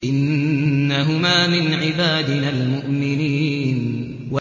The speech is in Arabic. إِنَّهُمَا مِنْ عِبَادِنَا الْمُؤْمِنِينَ